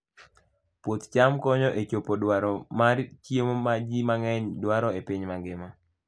Puoth cham konyo e chopo dwaro mar chiemo ma ji mang'eny dwaro e piny mangima.